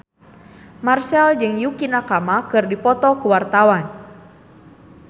Marchell jeung Yukie Nakama keur dipoto ku wartawan